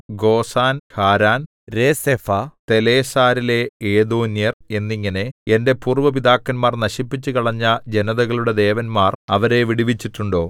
Gozan Haran Rezeph തെലസ്സാരിലെ ഏദേന്യർ എന്നിങ്ങനെ എന്റെ പൂര്‍വ്വ പിതാക്കന്മാർ നശിപ്പിച്ചുകളഞ്ഞ ജനതകളുടെ ദേവന്മാർ അവരെ വിടുവിച്ചിട്ടുണ്ടോ